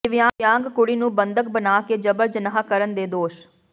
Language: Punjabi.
ਦਿਵਿਆਂਗ ਕੁੜੀ ਨੂੰ ਬੰਧਕ ਬਣਾ ਕੇ ਜਬਰ ਜਨਾਹ ਕਰਨ ਦੇ ਦੋਸ਼